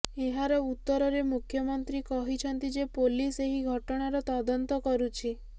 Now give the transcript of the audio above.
ଏହାର ଉତ୍ତରରେ ମୁଖ୍ୟମନ୍ତ୍ରୀ କହିଛନ୍ତି ଯେ ପୋଲିସ ଏହି ଘଟଣାର ତଦନ୍ତ କରୁଛି